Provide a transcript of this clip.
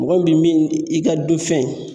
Mɔgɔ min bi min i ka du fɛn.